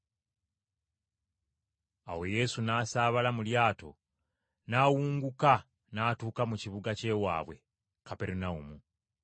Awo Yesu n’asaabala mu lyato n’awunguka n’atuuka mu kibuga ky’ewaabwe, Kaperunawumu.